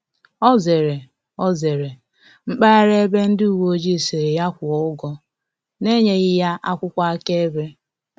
Ọ zere Ọ zere mpaghara ebe ndị uweojii sịrị ya kwuo ụgwọ na enyeghi ya akwụkwọ aka-ebe